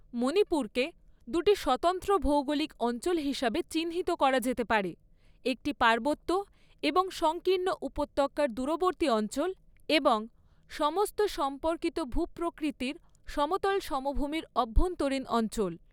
মণিপুরকে দুটি স্বতন্ত্র ভৌগোলিক অঞ্চল হিসাবে চিহ্নিত করা যেতে পারে, একটি পার্বত্য, এবং সংকীর্ণ উপত্যকার দূরবর্তী অঞ্চল এবং সমস্ত সম্পর্কিত ভূ প্রকৃতির সমতল সমভূমির অভ্যন্তরীণ অঞ্চল।